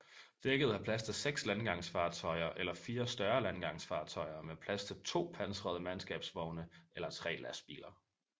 Dækket har plads til seks landgangsfartøjer eller fire større landgangsfartøjer med plads til to pansrede mandskabsvogne eller tre lastbiler